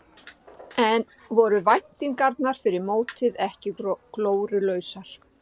En voru væntingarnar fyrir mót ekki glórulausar?